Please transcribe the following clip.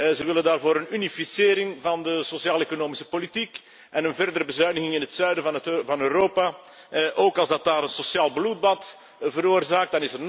Die wil daarvoor een unificering van de sociaal economische politiek en een verdere bezuiniging in het zuiden van Europa, ook als dat daar een sociaal bloedbad veroorzaakt.